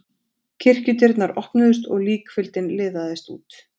Kirkjudyrnar opnuðust og líkfylgd liðaðist út.